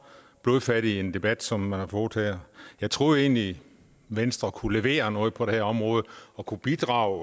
blodfattig en debat som man har fået her jeg troede egentlig venstre kunne levere noget på det her område kunne bidrage